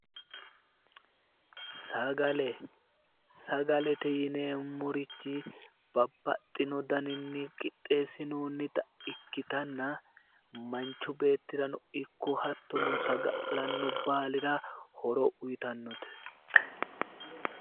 Sagale. Sagalete yineemmorichi babbaxxino daninni qixxeessinoonnita ikkitanna manchi beettirano ikko hattono saga'lanno baalira horo uyitannote.